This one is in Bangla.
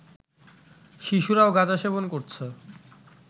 শিশুরাও গাঁজা সেবন করছে